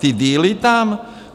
Ty dealy tam?